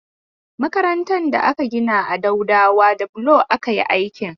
Makarantar da aka gina a Daudawa da bulo aka yi aikin.